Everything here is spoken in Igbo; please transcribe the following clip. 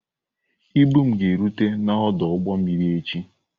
Ibu m ga-erute n'ọdụ ụgbọ mmiri echi.